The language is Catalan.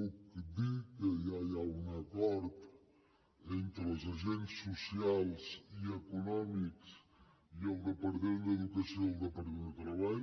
li puc dir que ja hi ha un acord entre els agents socials i econòmics i el departament d’educació i el departament de treball